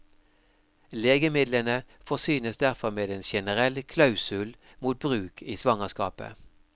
Legemidlene forsynes derfor med en generell klausul mot bruk i svangerskapet.